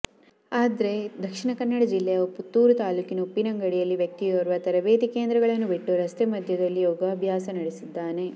ಆದ್ರೇ ದಕ್ಷಿಣ ಕನ್ನಡ ಜಿಲ್ಲೆಯ ಪುತ್ತೂರು ತಾಲೂಕಿನ ಉಪ್ಪಿನಂಗಡಿಯಲ್ಲಿ ವ್ಯಕ್ತಿಯೊರ್ವ ತರಭೇತಿ ಕೇಂದ್ರಗಳನ್ನು ಬಿಟ್ಟು ರಸ್ತೆ ಮದ್ಯೆದಲ್ಲಿ ಯೋಗಾಭ್ಯಾಸ ನಡೆಸಿದ್ದಾನೆ